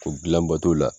O gilan bato la